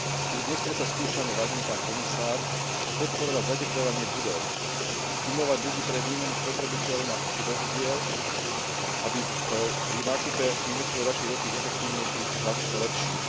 Už dnes predsa skúšame, vážený pán komisár, podporovať zatepľovanie budov, stimulovať ľudí k výmene spotrebičov či vozidiel, aby pri nákupe investovali radšej do tých efektívnejších a lepších.